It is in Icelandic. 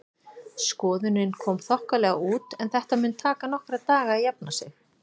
Skoðunin kom þokkalega út en þetta mun taka nokkra daga að jafna sig.